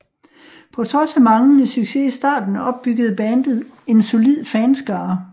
På trods af manglende succes i starten opbyggede bandet en solid fanskare